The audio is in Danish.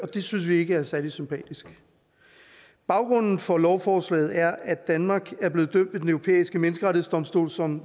det synes vi ikke er særlig sympatisk baggrunden for lovforslaget er at danmark er blevet dømt ved den europæiske menneskerettighedsdomstol som